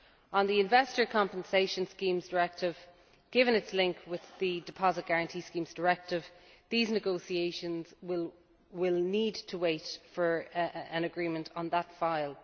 On the Investor Compensation Schemes Directive, given its link with the Deposit Guarantee Schemes Directive, these negotiations will need to wait for an agreement on that file.